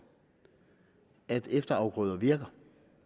at efterafgrøder virker